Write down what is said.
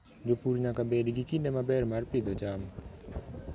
Jopur nyaka bed gi kinde maber mar pidho cham.